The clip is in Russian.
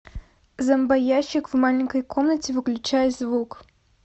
зомбоящик в маленькой комнате выключай звук